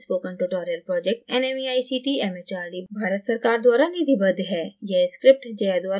spoken tutorial project nmeict mhrd Bharat सरकार द्वारा निधिबद्ध है